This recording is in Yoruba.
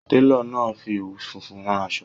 Télò náà fi òwú funfun rán aṣọ.